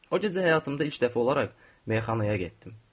O gecə həyatımda ilk dəfə olaraq meyxanaya getdim.